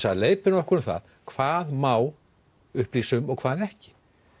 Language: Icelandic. að leiðbeina okkur um það hvað má upplýsa um og hvað ekki